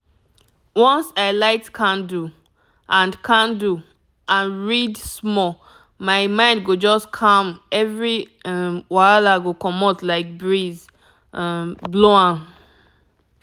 once i light candle and candle and read small my mind go just calm every um wahala go comot like breeze um blow am.